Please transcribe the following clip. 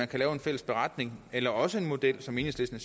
kan lave en fælles beretning eller også prøver den model som enhedslisten